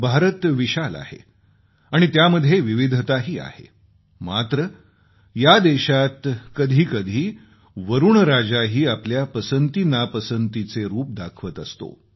भारत विशाल आहे आणि त्यामध्ये विविधताही आहे मात्र या देशात कधी कधी वरूणराजाही आपली पसंतीनापसंतीचे रूप दाखवत असतो